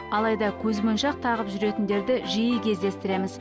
алайда көзмоншақ тағып жүретіндерді жиі кездестіреміз